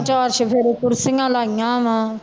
ਚਾਰ ਚੁਫ਼ੇਰੇ ਕੁਰਸੀਆਂ ਲਾਈਆਂ ਵਾਂ